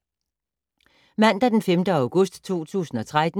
Mandag d. 5. august 2013